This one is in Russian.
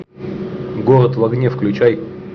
город в огне включай